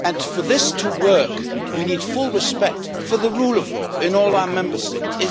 For this to work, we need full respect for the rule of law in all our Member States.